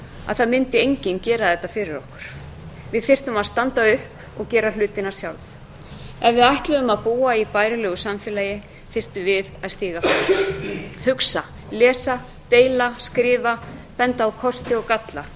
að það mundi enginn gera þetta fyrir okkur við þyrftum að standa upp og gera hlutina sjálf ef við ætluðum að búa í bærilegu samfélagi þyrftum við að stíga upp hugsa lesa deila skrifa benda á kosti og galla